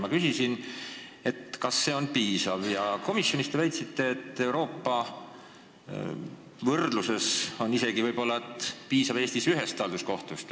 Ma küsisin komisjonis, kas see on piisav, ja te väitsite, et kui muu Euroopaga võrrelda, siis piisab Eestis isegi võib-olla ühest halduskohtust.